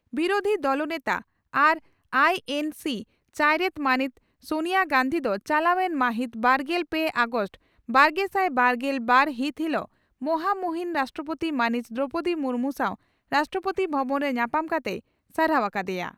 ᱵᱤᱨᱩᱫᱷᱤ ᱫᱚᱞ ᱱᱮᱛᱟ ᱟᱨ ᱟᱭᱤᱹᱮᱱᱹᱥᱤᱹ ᱪᱟᱭᱨᱮᱛ ᱢᱟᱹᱱᱤᱡ ᱥᱚᱱᱤᱭᱟᱹ ᱜᱟᱺᱫᱷᱤ ᱫᱚ ᱪᱟᱞᱟᱣᱮᱱ ᱢᱟᱹᱦᱤᱛ ᱵᱟᱨᱜᱮᱞ ᱯᱮ ᱟᱜᱚᱥᱴ ᱵᱟᱨᱜᱮᱥᱟᱭ ᱵᱟᱨᱜᱮᱞ ᱵᱟᱨ ᱦᱤᱛ ᱦᱤᱞᱚᱜ ᱢᱚᱦᱟ ᱢᱩᱦᱤᱱ ᱨᱟᱥᱴᱨᱚᱯᱳᱛᱤ ᱢᱟᱹᱱᱤᱡ ᱫᱨᱚᱣᱯᱚᱫᱤ ᱢᱩᱨᱢᱩ ᱥᱟᱣ ᱨᱟᱥᱴᱨᱚᱯᱳᱛᱤ ᱵᱷᱚᱵᱚᱱ ᱨᱮ ᱧᱟᱯᱟᱢ ᱠᱟᱛᱮᱭ ᱥᱟᱨᱦᱟᱣ ᱟᱠᱟ ᱫᱮᱭᱟ ᱾